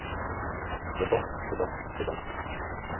debatt debatt debatt